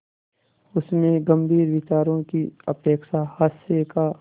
उसमें गंभीर विचारों की अपेक्षा हास्य का